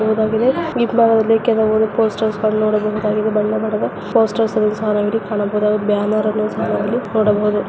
Poster ಅನ್ನು ನೋಡಬಹುದಾಗಿದೆ. ಬಣ್ಣ ಬಣ್ಣದ ಬ್ಯಾನರ್ ಸಹ ನೋಡಬಹುದಾಗಿದೆ.